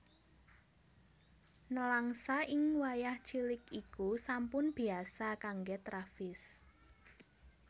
Nèlangsa ing wayah cilik iku sampun biyasa kanggé Travis